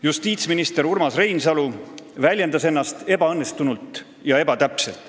Justiitsminister Urmas Reinsalu väljendas ennast ebaõnnestunult ja ebatäpselt.